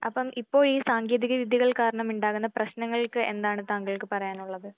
അപ്പം ഇപ്പൊ ഈ സാങ്കേതിക വിദ്യകൾ കാരണം ഉണ്ടാകുന്ന പ്രശ്നങ്ങൾക്ക് എന്താണ് താങ്കൾക്ക് പറയാനുള്ളത്?